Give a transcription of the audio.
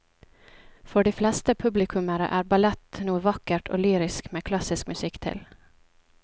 For de fleste publikummere er ballett noe vakkert og lyrisk med klassisk musikk til.